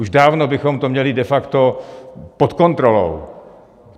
Už dávno bychom to měli de facto pod kontrolou.